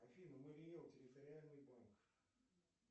афина марий эл территориальный банк